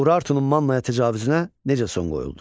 Urartunun Mannaya təcavüzünə necə son qoyuldu?